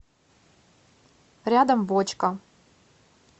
рядом бочка